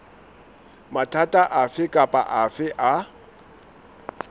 mathata afe kapa afe a